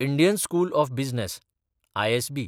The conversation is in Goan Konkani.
Indian school of business (ISB)